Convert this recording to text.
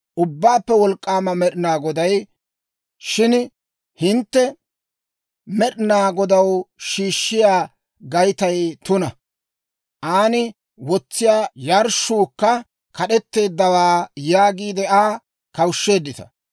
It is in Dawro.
Ubbaappe Wolk'k'aama Med'ina Goday, «Shin hintte, ‹Med'ina Godaw shiishshiyaa Gaytay tuna; aan wotsiyaa yarshshuukka kad'etteeddawaa› yaagiide Aa kawushsheeddita.